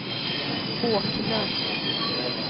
Håknäs